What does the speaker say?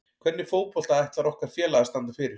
Hvernig fótbolta ætlar okkar félag að standa fyrir?